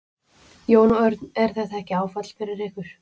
Jón Örn: Er þetta ekki áfall fyrir ykkur?